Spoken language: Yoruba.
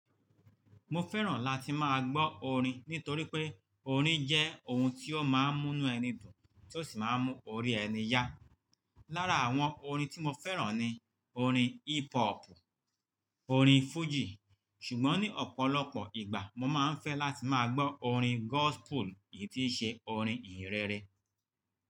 Mo fẹ́ràn láti máa gbọ́ orin nítorí pé orin jẹ́ ohun tí ó máa ń múnú ẹni dùn tí ó sì máa ń mú orí ẹni yá. Lára àwọn orin tí mo fẹ́ràn ni orin hip hop, orin fújì, ṣùgbọ́n ní ọ̀pọ̀lọpọ̀ ìgbà mo máa ń fẹ́ láti máa gbọ́ orin gospel èyí tí í ṣe orin ìhìn rere.